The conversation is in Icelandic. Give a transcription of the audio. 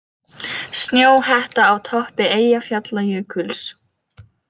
Snjóhetta á toppi Eyjafjallajökuls